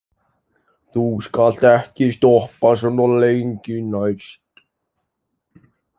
Þú skalt ekki stoppa svona lengi næst.